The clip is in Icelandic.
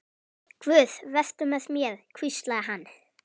Guð, vertu með mér, hvíslaði hann.